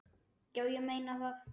Já, ég meina það.